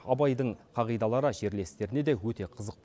абайдың қағидалары жерлестеріне де өте қызық